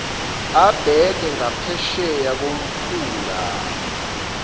abheke ngaphesheya komfula